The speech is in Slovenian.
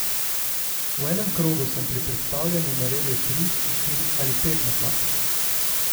V enem krogu sem pri prestavljanju naredil tri, štiri ali pet napak.